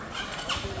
mənfi?